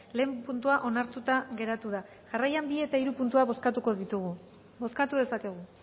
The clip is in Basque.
lehen puntua onartuta geratu da jarraian bi eta hiru puntuak bozkatuko ditugu bozkatu dezakegu